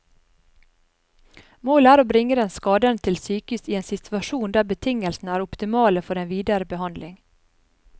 Målet er å bringe den skadede til sykehus i en situasjon der betingelsene er optimale for den videre behandling.